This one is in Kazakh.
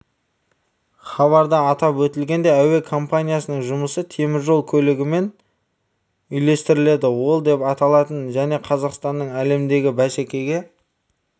хабарда атап өтілгендей әуе компаниясының жұмысы теміржол көлігімен үйлестіріледі ол деп аталатын және қазақстанның әлемдегі бәсекеге